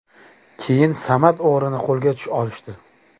Keyin Samad o‘g‘rini qo‘lga olishdi.